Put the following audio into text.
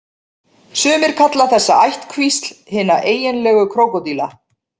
Sumir kalla þessa ættkvísl hina eiginlegu krókódíla.